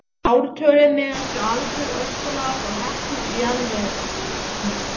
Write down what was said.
Ártölin miðast við aldur öskulaga frá Heklu í jarðvegssniðum.